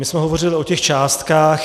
My jsme hovořili o těch částkách.